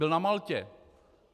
Byl na Maltě.